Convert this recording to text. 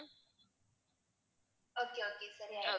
okay okay சரி ஆயிடும்